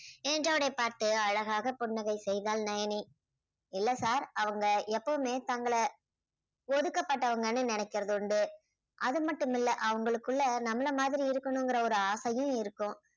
என்றவனை பார்த்து அழகாக புன்னகை செய்தாள் நயனி இல்லை sir அவங்க எப்பவுமே தங்களை ஒடுக்கப்பட்டவங்கன்னு நினைக்கிறது உண்டு அது மட்டும் இல்லை அவங்களுக்குள்ள நம்மளை மாதிரி இருக்கணுங்குற ஒரு ஆசையும் இருக்கும்